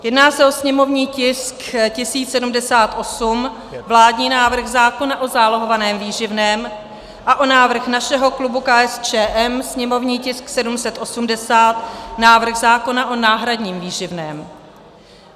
Jedná se o sněmovní tisk 1078, vládní návrh zákona o zálohovaném výživném a o návrh našeho klubu KSČM, sněmovní tisk 780, návrh zákona o náhradním výživném.